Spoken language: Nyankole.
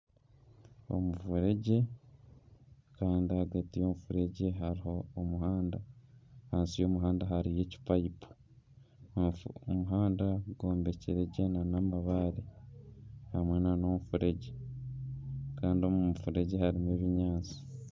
Omufuregye kandi ahagati y'omuferegye hariho omuhanda ahansi y'omuhanda hariyo ekipayipu omuhanda gwombekire gye nana amabaare hamwe nana omufuregye kandi omu mufureegye harimu ebinyaatsi